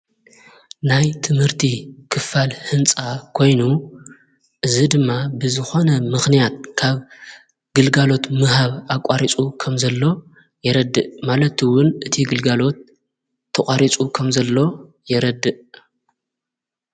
ናይ ትምህርቲ ክፋል ሕንፃ ኮይኑ እዝ ድማ ብዝኾነ ምኽንያት ካብ ግልጋሎት ምሃብ ኣቋሪጹ ኸም ዘሎ የረድእ ማለቱውን እቲ ግልጋሎት ተቛሪጹ ኸም ዘለ የረድእ።